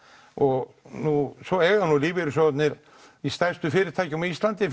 og nú eiga svo lífeyrissjóðirnir í stærstu fyrirtækjum á Íslandi